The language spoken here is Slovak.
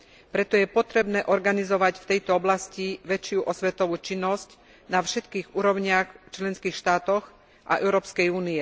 Preto je potrebné organizovať v tejto oblasti väčšiu osvetovú činnosť na všetkých úrovniach členských štátov a EÚ.